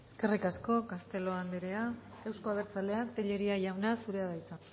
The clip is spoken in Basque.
eskerrik asko castelo anderea euzko abertzaleak tellería jauna zurea da hitza